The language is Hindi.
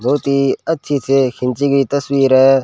बहोत ही अच्छी से खींची गई तस्वीर है।